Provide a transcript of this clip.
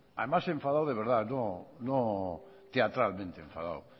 además enfadado de verdad no teatralmente enfadado